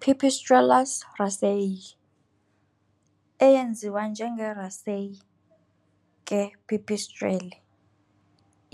Pipistrellus raceyi, eyaziwa njenge Racey ke pipistrelle,